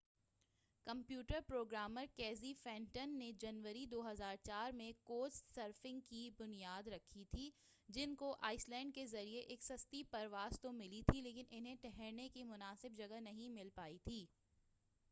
computer programmer Casey Fenton نے جنوری 2004 میں کوچ سرفنگ کی بنیاد رکھی تھی جن کو آئس لینڈ کے لئے ایک سستی پرواز تو ملی تھی لیکن انہیں ٹھہرنے کی مناسب جگہ نہیں مل پائی تھی